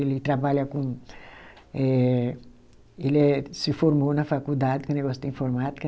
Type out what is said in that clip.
Ele trabalha com eh, ele é se formou na faculdade, com negócio de informática.